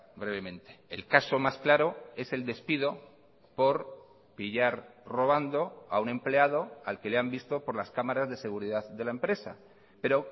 brevemente el caso más claro es el despido por pillar robando a un empleado al que le han visto por las cámaras de seguridad de la empresa pero